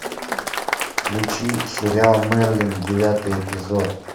включи сериал мерлин девятый эпизод